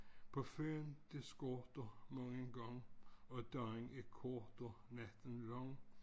På føden det skorter nu en gang og dagen er kort og natten lang